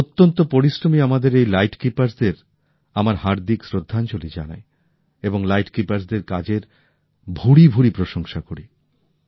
অত্যন্ত পরিশ্রমী আমাদের এই লাইট হাউজের কর্মীদের আমার গভীর শ্রদ্ধাঞ্জলি জানাই এবং তাদের কাজের উচ্ছ্বসিত প্রশংসা করি